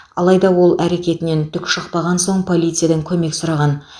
алайда ол әркетінен түк шықпаған соң полициядан көмек сұрған